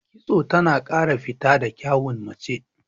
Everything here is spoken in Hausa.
Kitso tana ƙara fito da kyawun mace.